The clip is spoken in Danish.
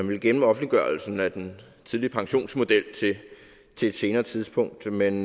ville gemme offentliggørelsen af den tidlige pensionsmodel til et senere tidspunkt men